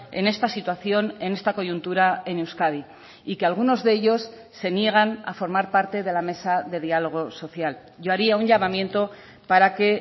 en esta situación en esta coyuntura en euskadi y que algunos de ellos se niegan a formar parte de la mesa de diálogo social yo haría un llamamiento para que